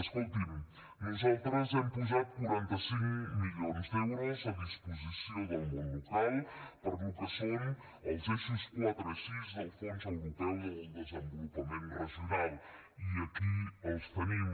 escolti’m nosaltres hem posat quaranta cinc milions d’euros a disposició del món local per al que són els eixos quatre i sis del fons europeu del desenvolupament regional i aquí els tenim